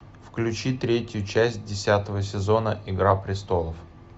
включи третью часть десятого сезона игра престолов